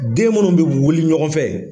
Den munnu wuli ɲɔgɔn fɛ